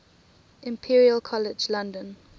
imperial college london